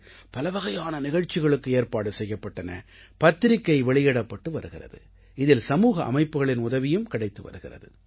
பலவகையான நிகழ்ச்சிகளுக்கு ஏற்பாடு செய்யப்பட்டன பத்திரிக்கை வெளியிடப்பட்டு வருகிறது இதில் சமூக அமைப்புகளின் உதவியும் கிடைத்து வருகிறது